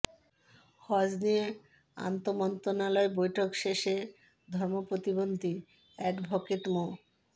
হজ্ব নিয়ে আন্তঃমন্ত্রণালয় বৈঠক শেষে ধর্ম প্রতিমন্ত্রী অ্যাডভোকেট মো